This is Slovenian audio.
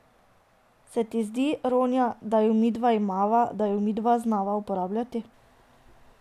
Se ti ne zdi, Ronja, da jo midva imava, da jo midva znava uporabljati.